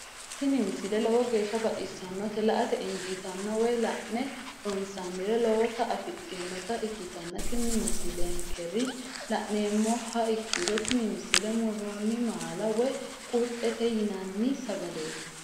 tini misile lowo geeshsha baxissannote la"ate injiitanno woy la'ne ronsannire lowote afidhinota ikkitanna tini leellishshannonkeri la'nummoha ikkiro tini misile murroonni maala woy qurxete yinanni sagaleeti.